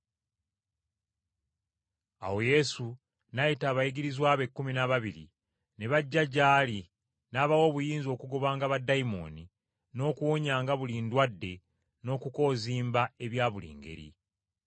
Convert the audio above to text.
Awo Yesu n’ayita abayigirizwa be ekkumi n’ababiri, ne bajja gy’ali n’abawa obuyinza okugobanga baddayimooni, n’okuwonyanga buli ndwadde n’okukozimba ebya buli ngeri.